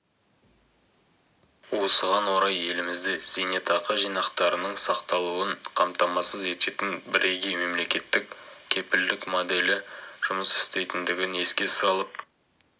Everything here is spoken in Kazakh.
осыған орай елімізде зейнетақы жинақтарының сақталуын қамтамасыз ететін бірегей мемлекеттік кепілдік моделі жұмыс істейтіндігін еске салып